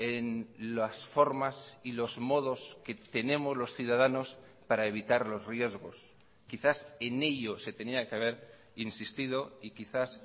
en las formas y los modos que tenemos los ciudadanos para evitar los riesgos quizás en ello se tenía que haber insistido y quizás